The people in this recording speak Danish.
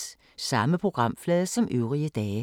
Samme programflade som øvrige dage